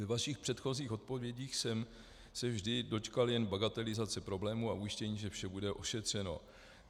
Ve vašich předchozích odpovědích jsem se vždy dočkal jen bagatelizace problému a ujištění, že vše bude ošetřeno.